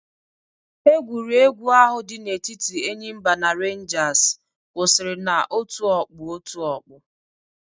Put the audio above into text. Egwuregwu ahụ di na-etiti Enyimba na Renjas kwụsịrị na-otu ọkpụ otu ọkpụ.